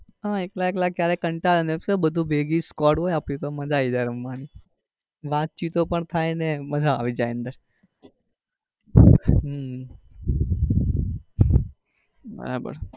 હા એકલા એકલા ક્યારેક કંટાળે ને શું બધી ભેગી scoade હોય આપડી તો મજા આવી જાય રમવા ની વાત ચીતો પણ થાય ને મજા આવી જાય અંદર.